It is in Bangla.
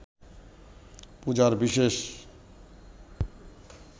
পূজার বিশেষ